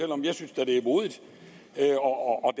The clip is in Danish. om jeg synes da det er modigt og